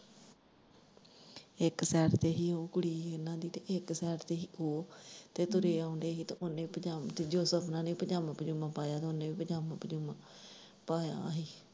ਇੱਕ ਸੇਡ ਤੇ ਹੀ ਉਹ ਕੁੜੀ ਉਨਾਂ ਦੀ ਤੇ ਇੱਕ ਸੇਡ ਤੇ ਹੀ ਉਹ ਤੇ ਤੁਰੇ ਆਣ ਦੇ ਹੀ ਤੇ ਓਨੇ ਪਜਾ ਦੂਜੇ ਸਪਨਾ ਨੇ ਵੀ ਪਜਾਮਾ ਪਜੁਮਾ ਪਾਇਆ ਹੀ ਤੇ ਦੂਜਾ ਓਨੇ ਵੀ ਪਜਾਮਾ ਪਜੁਮਾ ਪਾਇਆ ਹੀ।